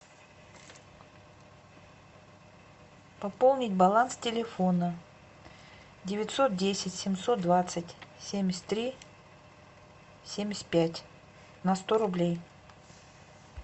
пополнить баланс телефона девятьсот десять семьсот двадцать семьдесят три семьдесят пять на сто рублей